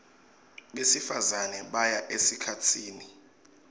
besifazane baya esikhatsini